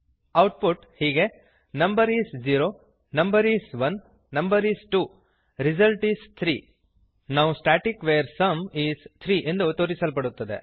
output ಹೀಗೆ number is 0 number is 1 number is 2 result is 3 now static var sum is 3 ಎಂದು ತೋರಿಸಲ್ಪಡುತ್ತದೆ